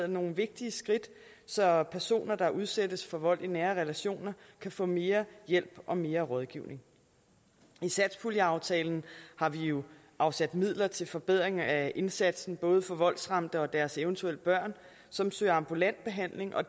nogle vigtige skridt så personer der udsættes for vold i nære relationer kan få mere hjælp og mere rådgivning i satspuljeaftalen har vi jo afsat midler til forbedring af indsatsen både for voldsramte og deres eventuelle børn som søger ambulant behandling og